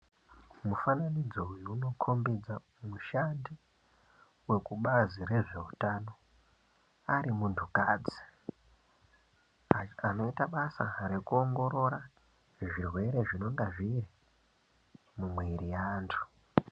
Mufananidzo uyu unokhombidza mushandi wekubazi rezveutano, ari muntukadzi. Anoita basa rekuongorora zvirwere zvinonga zviri mumwiri yeantu.